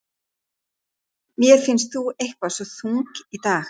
Mér finnst þú eitthvað svo þung í dag.